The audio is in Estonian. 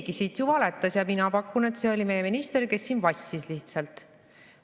Keegi siit ju valetas ja mina pakun, et see oli meie minister, kes siin vassis lihtsalt.